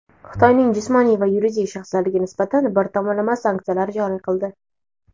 Xitoyning jismoniy va yuridik shaxslariga nisbatan bir tomonlama sanksiyalar joriy qildi.